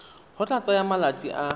go tla tsaya malatsi a